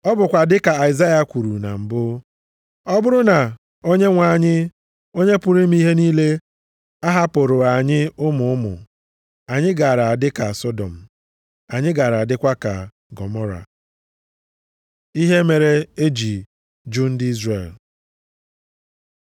Ọ bụkwa dịka Aịzaya kwuru na mbụ, “Ọ bụrụ na Onyenwe anyị, Onye pụrụ ime ihe niile ahapụrụghị anyị ụmụ ụmụ, anyị gara adị ka Sọdọm, anyị gaara adịkwa ka Gọmọra.” + 9:29 \+xt Aịz 1:9\+xt* Ihe mere e ji jụ ndị Izrel